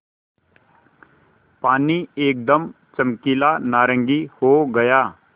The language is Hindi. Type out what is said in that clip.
पानी एकदम चमकीला नारंगी हो गया